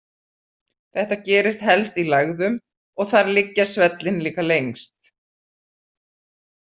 Þetta gerist helst í lægðum, og þar liggja svellin líka lengst.